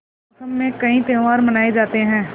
इस मौसम में कई त्यौहार मनाये जाते हैं